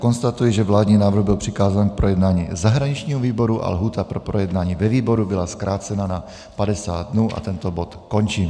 Konstatuji, že vládní návrh byl přikázán k projednání zahraničnímu výboru a lhůta pro projednání ve výboru byla zkrácena na 50 dnů, a tento bod končím.